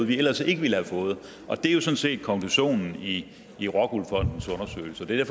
vi ellers ikke ville have fået og det er jo sådan set konklusionen i i rockwool fondens undersøgelse det er